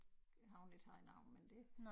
Har hun ikke haft noget men det